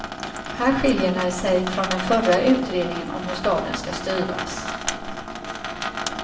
Här skiljer den sig från den förra utredningen om hur staden ska styras.